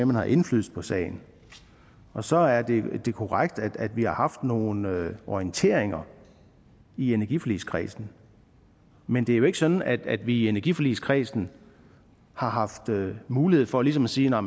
man har indflydelse på sagen så er det korrekt at vi har haft nogle nogle orienteringer i energiforligskredsen men det er jo ikke sådan at at vi i energiforligskredsen har haft en mulighed for ligesom at sige at